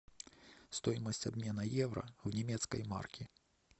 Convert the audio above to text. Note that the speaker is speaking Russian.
стоимость обмена евро в немецкой марке